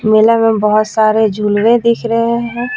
मेला में बहुत सारे झूले दिख रहे हैं.